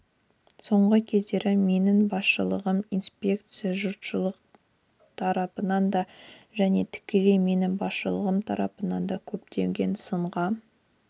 соңғы кездері менің басшылығымдағы инспекция жұртшылық тарапынан да және тікелей менің басшылығым тарапынан да көптеген сынға